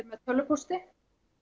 tölvupósti